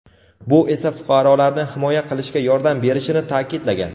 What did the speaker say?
bu esa fuqarolarni himoya qilishga yordam berishini ta’kidlagan.